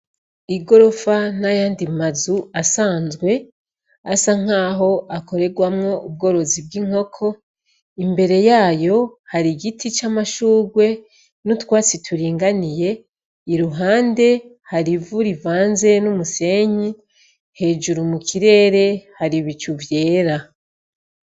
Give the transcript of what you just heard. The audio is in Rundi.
Igorofa n'ayandi mazu asanzwe asa nkaho akoregwamwo ubworozi bw'inkoko imbere yayo har’igiti c'amashurgwe n'utwatsi turinganiye iruhande har’ivu rivanze n'umusenyi hejuru mu kirere har’ibicu vyera.